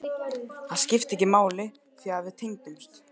Það skipti ekki máli því að við tengdumst.